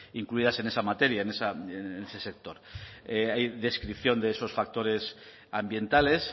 incluidas en esa materia en ese sector hay descripción de esos factores ambientales